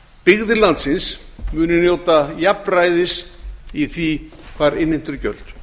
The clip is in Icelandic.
byggðir landsins munu njóta jafnræðis í því hvar innheimt eru gjöld